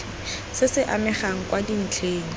se se amegang kwa dintlheng